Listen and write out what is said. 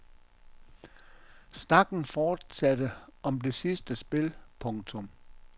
Snakken fortsatte om det sidste spil. punktum